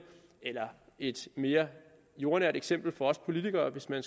eller et mere jordnært eksempel for os politikere hvis man